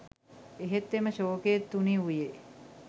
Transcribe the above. එහෙත් එම ශෝකය තුනීවූයේ